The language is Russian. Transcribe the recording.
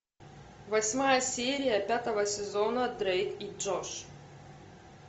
восьмая серия пятого сезона дрейд и джордж